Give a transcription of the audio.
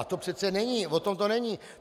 A to přece není, o tom to není.